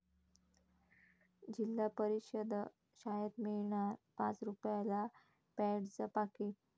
जिल्हा परिषद शाळेत मिळणार पाच रुपयाला पॅडचं पाकीट